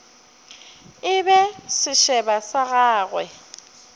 e be sešeba sa gagwe